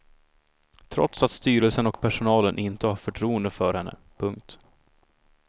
Trots att styrelsen och personalen inte har förtroende för henne. punkt